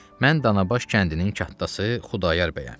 Mən Danabaş kəndinin kəttası Xudayar bəyəm.